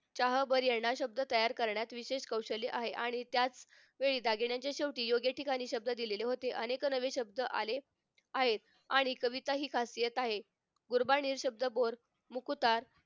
चाहबर याना शब्द तयार करण्यात विशेष कौशल्य आहे आणि त्यात वेळी दागिन्यांच्या शेवटी योग्य शब्द दिलेले होते अनेक नवे शब्द आले आहेत आणि कविताही खासियत आहे गुरुबानी शब्दबोर मुकुटार